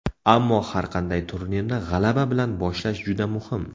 Ammo har qanday turnirni g‘alaba bilan boshlash juda muhim.